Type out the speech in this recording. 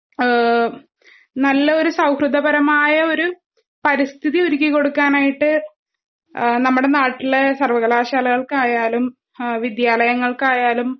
ഏഹ് നല്ലൊരു സൗഹൃദപരമായഒരു പരിസ്ഥതിഒരുക്കികൊടുക്കാനായിട്ട് ആഹ് നമ്മടെനാട്ടിലെ സർവ്വകലാശാലകൾക്കായാലും, വിദ്യാലങ്ങൾക്കായാലും